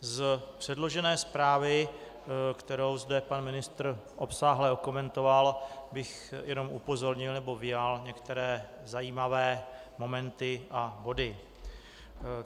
Z předložené zprávy, kterou zde pan ministr obsáhle okomentoval, bych jenom upozornil, nebo vyjmul některé zajímavé momenty a body.